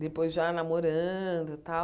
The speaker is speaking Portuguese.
Depois já namorando tal.